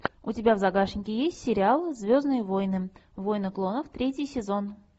у тебя в загашнике есть сериал звездные войны войны клонов третий сезон